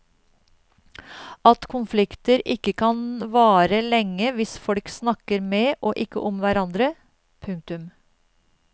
At konflikter ikke kan vare lenge hvis folk snakker med og ikke om hverandre. punktum